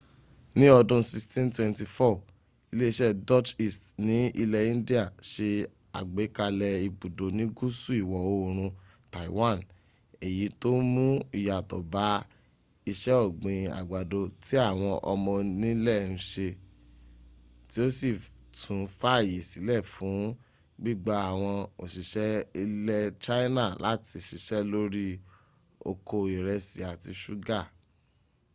ní ọdún 1624 ilé-iṣẹ́ dutch east ní ilẹ̀ india se àgbékalẹ̀ ibùdó ní gúúsù ìwọ̀ oòrùn taiwan èyí tó mún ìyàtọ̀ bá iṣẹ́ ọ̀gbìn àgbàdo tí àwọn ọmọ onílẹ̀ ń se tí ó sì tún fààyè sílẹ̀ fún gbígba àwọn òsìṣẹ́ ilẹ̀ china láti síṣẹ́ lórí okò ìrẹsì àti ṣúgà